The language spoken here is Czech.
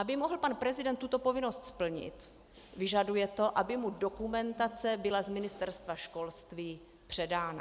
Aby mohl pan prezident tuto povinnost splnit, vyžaduje to, aby mu dokumentace byla z Ministerstva školství předána.